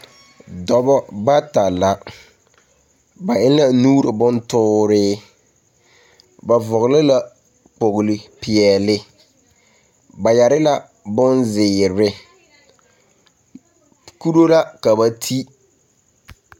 Dɔbɔ bata la, ba eŋ la nuur bontoore. Ba vɔgele la kpoglipeɛle. Ba yare la bonzeere. Kuro la ka ba ti.